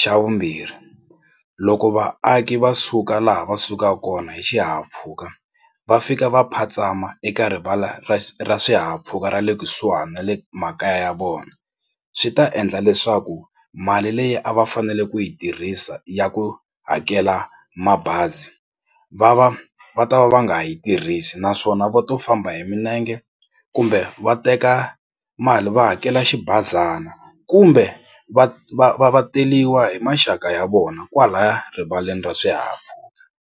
Xa vumbirhi loko vaaki va suka laha va sukaka kona hi xihahampfhuka va fika va phatsama eka rivala ra ra swihahampfhuka ra le kusuhani na le makaya ya vona swi ta endla leswaku mali leyi a va fanele ku yi tirhisa ya ku hakela mabazi va va va ta va va nga yi tirhisi naswona va to famba hi milenge kumbe va teka mali va hakela xibazana kumbe va va va va teriwa hi maxaka ya vona kwalaya erivaleni ra swihahampfhuka.